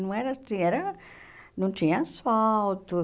Não era assim, era... Não tinha asfalto.